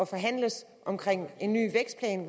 forhandles om en ny vækstplan